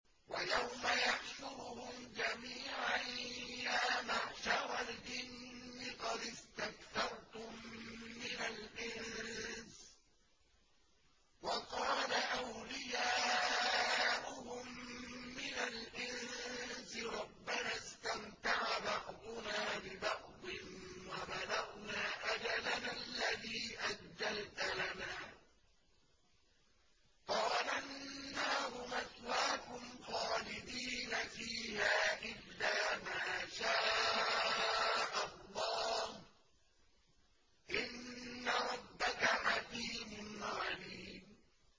وَيَوْمَ يَحْشُرُهُمْ جَمِيعًا يَا مَعْشَرَ الْجِنِّ قَدِ اسْتَكْثَرْتُم مِّنَ الْإِنسِ ۖ وَقَالَ أَوْلِيَاؤُهُم مِّنَ الْإِنسِ رَبَّنَا اسْتَمْتَعَ بَعْضُنَا بِبَعْضٍ وَبَلَغْنَا أَجَلَنَا الَّذِي أَجَّلْتَ لَنَا ۚ قَالَ النَّارُ مَثْوَاكُمْ خَالِدِينَ فِيهَا إِلَّا مَا شَاءَ اللَّهُ ۗ إِنَّ رَبَّكَ حَكِيمٌ عَلِيمٌ